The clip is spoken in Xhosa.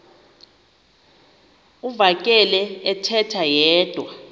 uvakele ethetha yedwa